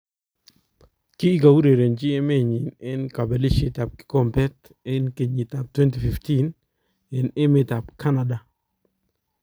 Kikourerenjin emeenyin en kabelishet ab kikombet en kenyitab 2015 en emetab Canada.